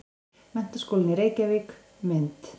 Menntaskólinn í Reykjavík- mynd.